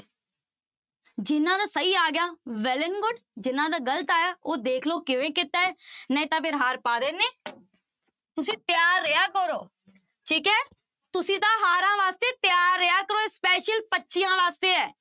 ਜਿਹਨਾਂ ਦਾ ਸਹੀ ਆ ਗਿਆ well and good ਜਿਹਨਾਂ ਦਾ ਗ਼ਲਤ ਆਇਆ ਉਹ ਦੇਖ ਲਓ ਕਿਵੇਂ ਕੀਤਾ ਹੈ, ਨਹੀਂ ਤਾਂ ਫਿਰ ਹਾਰ ਪਾ ਦਿੰਦੇ ਤੁਸੀਂ ਤਿਆਰ ਰਿਹਾ ਕਰੋੋ, ਠੀਕ ਹੈ ਤੁਸੀਂ ਤਾਂ ਹਾਰਾਂ ਵਾਸਤੇ ਤਿਆਰ ਰਿਹਾ ਕਰੋ ਇਹ special ਬੱਚਿਆਂ ਵਾਸਤੇ ਹੈ।